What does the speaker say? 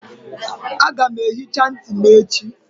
Aga m ehicha ntị m echi